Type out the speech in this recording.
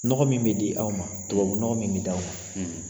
Nɔgɔ min bɛ di aw ma ,tubabu nɔgɔ min bɛ di aw ma.